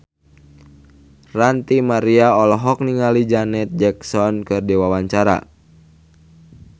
Ranty Maria olohok ningali Janet Jackson keur diwawancara